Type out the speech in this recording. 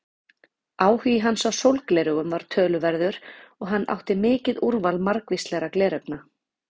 Áhugi hans á sólgleraugum var töluverður og hann átti mikið úrval margvíslegra gleraugna.